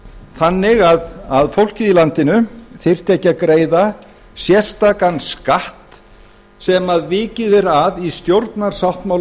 þannig að fólkið í landinu þyrfti ekki að greiða sérstakan skatt sem vikið er að í stjórnarsáttmálanum